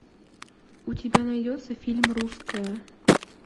у тебя найдется фильм русская